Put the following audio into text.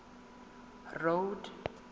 road